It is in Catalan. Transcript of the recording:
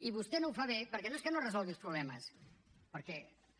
i vostè no ho fa bé perquè no és que no resolgui els problemes perquè